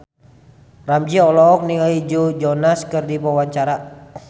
Ramzy olohok ningali Joe Jonas keur diwawancara